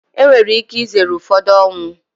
Enwere ike izere ụfọdụ ọnwụ.